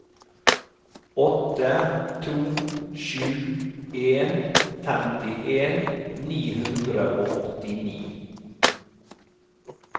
åtte to sju en femtien ni hundre og åttini